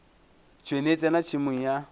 tšhwene e tsena tšhemong ya